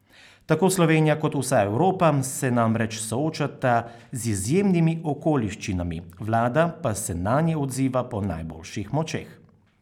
Tako Slovenija kot vsa Evropa se namreč soočata z izjemnimi okoliščinami, vlada pa se nanje odziva po najboljših močeh.